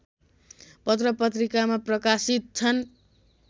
पत्रपत्रिकामा प्रकाशित छन्